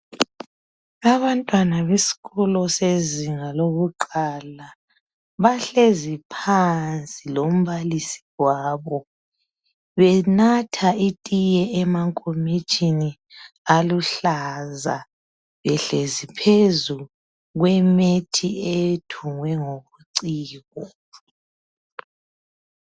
Abantwana besikolo sezinga lokuqala bahlezi phansi lombalisi wabo benatha itiye emankomitshini aluhlaza behlezi phezu kwemethi edrowe ngobuciko.